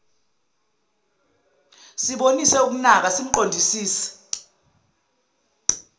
sibonise ukunaka simqondisise